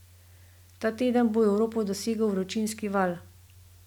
Ta teden bo Evropo dosegel vročinski val.